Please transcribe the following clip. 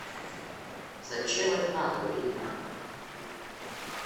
зачем это надо блин а